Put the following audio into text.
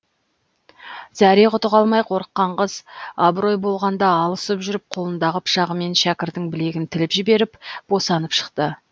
зәре құты қалмай қорыққан қыз аброй болғанда алысып жүріп қолындағы пышағымен шәкірдің білегін тіліп жіберіп босанып шықты